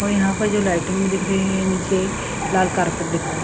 और यहाँ पर जो लाइटिंग भी दिख रही है नीचे लाल कारपेट दिख रहा है।